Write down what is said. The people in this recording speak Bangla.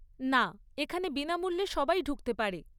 না, এখানে বিনামূল্যে সবাই ঢুকতে পারে।